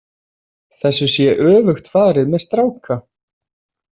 Þessu sé öfugt farið með stráka.